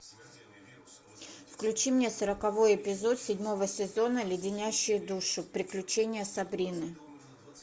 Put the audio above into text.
включи мне сороковой эпизод седьмого сезона леденящие душу приключения сабрины